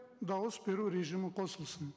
дауыс беру режимі қосылсын